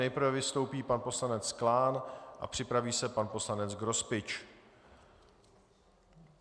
Nejprve vystoupí pan poslanec Klán a připraví se pan poslanec Grospič.